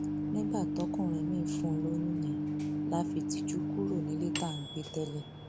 nígbà tọkùnrin miín fún un lóyún yẹn la fìtìjú kúrò nílé tá à ń gbé tẹlẹ